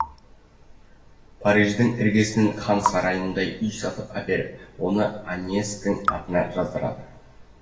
париждің іргесінен хан сарайындай үй сатып әперіп оны аньестің атына жаздырады